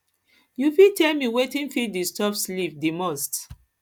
you fit tell me wetin dey disturb sleep di most